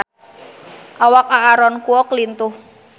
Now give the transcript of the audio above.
Awak Aaron Kwok lintuh